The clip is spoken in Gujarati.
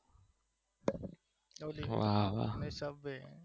બસ એ અને એક પબજી